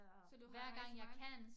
Så du har rejst meget